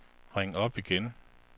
ring op igen